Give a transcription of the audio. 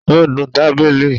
Ó nu tábìlì.